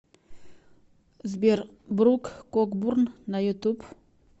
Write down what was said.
сбер брук кокбурн на ютуб